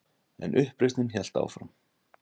En uppreisnin hélt áfram.